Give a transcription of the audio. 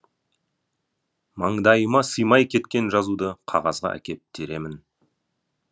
маңдайыма сыймай кеткен жазуды қағазға әкеп теремін